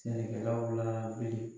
Sɛnɛkɛlaw la wuli.